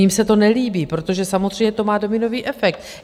Jim se to nelíbí, protože samozřejmě to má dominový efekt.